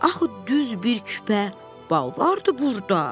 Axı düz bir küpə bal vardı burda.